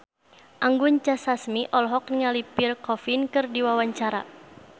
Anggun C. Sasmi olohok ningali Pierre Coffin keur diwawancara